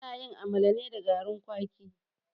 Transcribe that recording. Ana yin amala ne da garin kwaki.